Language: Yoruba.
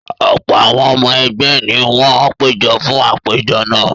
Ọ̀pọ̀ àwọn ọmọ ẹgbẹ́ ni wọ́n péjọ fún àpèjọ náà.